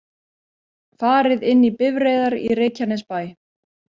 Farið inn í bifreiðar í Reykjanesbæ